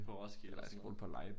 På Roskilde og sådan noget